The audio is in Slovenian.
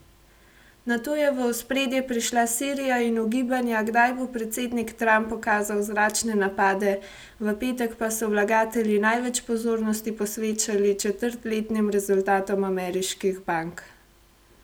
Nato je v ospredje prišla Sirija in ugibanja, kdaj bo predsednik Trump ukazal zračne napade, v petek pa so vlagatelji največ pozornosti posvečali četrtletnim rezultatom ameriških bank.